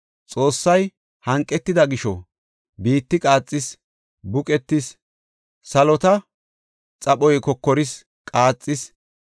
Xoossay hanqetida gisho, biitti qaaxis; buqetis; salota xaphoy kokoris; qaaxis